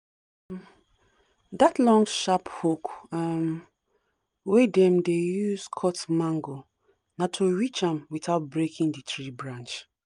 um that long sharp hook um wey dem dey use cut mango na to reach am without breaking the tree branch.